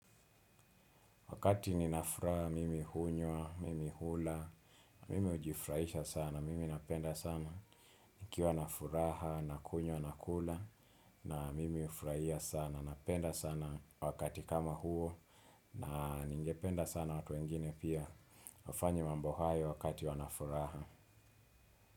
Wakati nina furaha, mimi hunywa, mimi hula, mimi hujifurahisha sana, mimi napenda sana. Nikiwa na furaha, nakunywa, nakula, na mimi hufurahia sana, napenda sana wakati kama huo, na ningependa sana watu wengine pia. Wafanye mambo hayo wakati wana furaha.